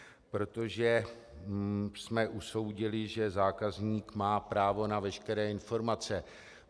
Protože jsme usoudili, že zákazník má právo na veškeré informace.